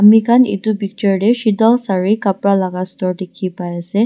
amikhan edu picture tae shetal sare kapra laka store dikhipaiase.